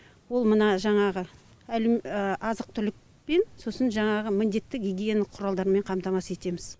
ол мына жаңағы азық түлікпен сосын жаңағы міндетті гигиеналық құралдармен қамтамасыз етеміз